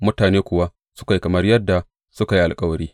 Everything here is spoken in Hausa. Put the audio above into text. Mutane kuwa suka yi kamar yadda suka yi alkawari.